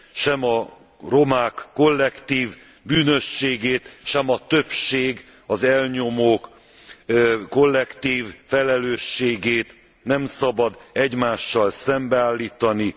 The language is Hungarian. Sem a romák kollektív bűnösségét, sem a többség, az elnyomók kollektív felelősségét nem szabad egymással szembeállítani.